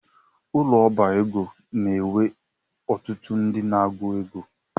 Ụlọ ọbá ego n'enwe ọtụtụ ndị n'agụ égo